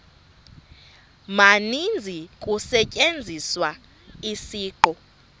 maninzi kusetyenziswa isiqu